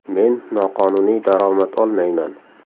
Men noqonuniy daromad olmayman.